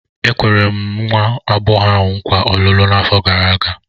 E kwere m nwa agbọghọ ahụ nkwa ọlụlụ n'afọ gara aga.